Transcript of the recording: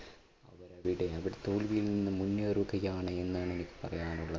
അവർ തോൽവിയിൽ നിന്നും മുന്നേറുകയാണ് എന്നാണ് എനിക്ക് പറയാനുള്ളത്.